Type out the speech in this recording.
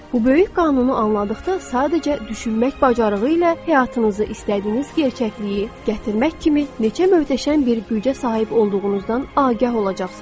Bu böyük qanunu anladıqda sadəcə düşünmək bacarığı ilə həyatınızı istədiyiniz gerçəkliyi gətirmək kimi neçə möhtəşəm bir gücə sahib olduğunuzdan agah olacaqsınız.